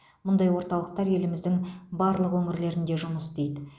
мұндай орталықтар еліміздің барлық өңірлерінде жұмыс істейді